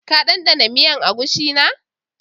Ka danɗana miyan agushi na?